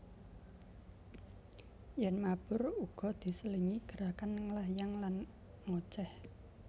Yèn mabur uga diselingi gerakan nglayang lan ngocéh